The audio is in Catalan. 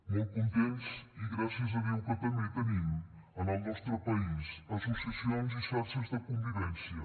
molt contents i gràcies a déu que també tenim en el nostre país associacions i xarxes de convivència